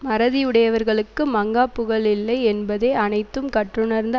மறதி உடையவர்களுக்கு மங்காப் புகழ் இல்லை என்பதே அனைத்தும் கற்றுணர்ந்த